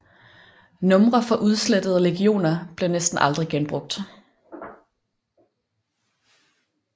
Numre fra udslettede legioner blev næsten aldrig genbrugt